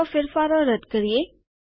ચાલો ફેરફારો રદ કરીએ